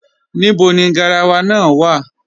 Níbọ̀ ni gáràwà náà wà?